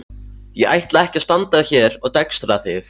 Ég ætla ekki að standa hér og dekstra þig.